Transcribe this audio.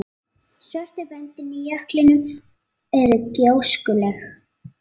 Svörtu böndin í jöklinum eru gjóskulög.